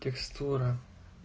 текстура